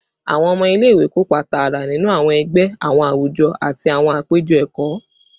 Awọn ọmọ ile-iwe kopa taara ninu awọn ẹgbẹ, awọn awujọ, ati awọn apejọ ẹkọ